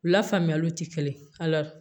U la faamuyaliw ti kelen ye